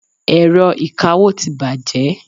Ẹ̀rọ ìkawó ti bàjẹ́.